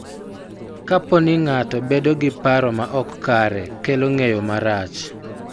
Kapo ni ng�ato bedo gi paro ma ok kare kelo ng�eyo marach,